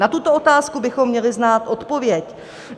Na tuto otázku bychom měli znát odpověď.